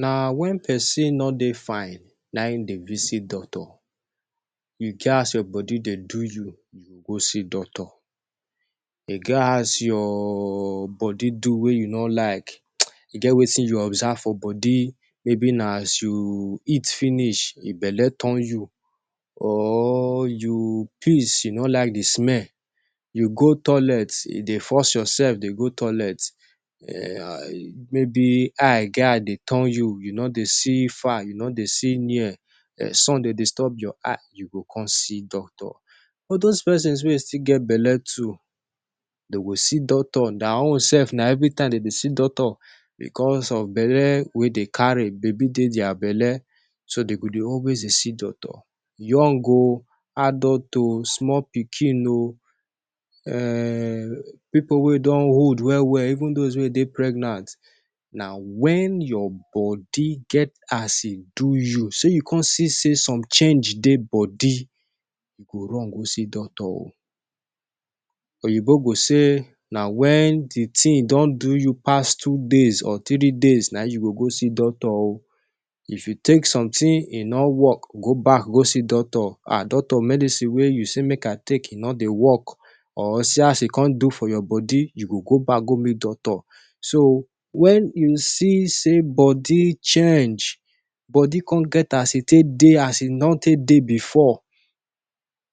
Na wen pesin no dey fine, na him e dey visit doctor. E get as your body dey do you, you go see doctor. E get as your body do wey you no like. E get wetin you observe for body, maybe na as you chop finish, e belle turn you. Or you piss, you no like di smell. You go toilet, e dey force yoursef dey go toilet. Maybe eye get as e dey turn you, you no dey see far, you no dey see near, sun dey disturb your eye. You go come see doctor. All dose pipu wey e still get belle too dey go see doctor. Dia own sef na evritime dem dey see doctor bicos of di belle wey dey carry baby for dia belle, so dem go dey always dey see doctor. Young o, adult o, small pikin o, pipu wey don old well well, even dose wey e dey pregnant — na wen your body get as e do you, say you come see say some change dey body, you go run go see doctor. Oyinbo go talk say na wen di tin don do you pass two days or three days, na you go go see doctor. If you take somtin, e no wok, go back go see doctor. "Ah doctor, medicine wey you say make I take, e no dey wok," or "see as e come do for my body." You go go back go meet doctor. So wen you see say body change, body come get as e take dey, as e don take dey bifor,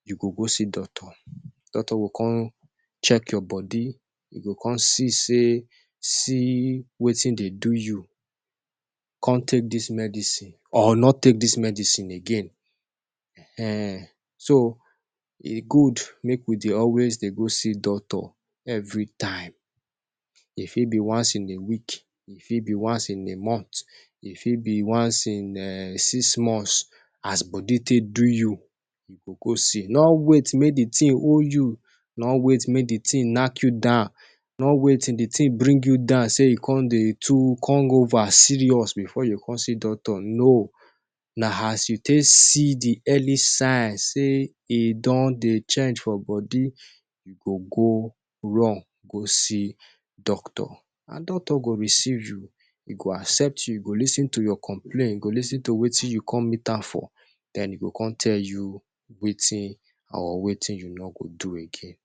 you go go see doctor. Doctor go come check your body, you go come see say, see wetin dey do you. Come take dis medicine or no take dis medicine again. So e good make we dey always dey go see doctor. Evritime, e fit be once in a week, e fit be once in a month, e fit be once in six months, as body take do you, you go go see. No wait make di tin hold you. No wait make di tin knack you down. No wait till di tin bring you down, say you come dey too come go over serious bifor you come see doctor. No. Na as you take see di early signs, say e don dey change for body, you go run go see doctor. And doctor go receive you, e go accept you, go lis ten to your complain, you go lis ten to wetin you come meet am for, den e go come tell you wetin or wetin you no go do again.